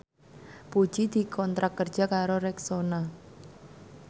Puji dikontrak kerja karo Rexona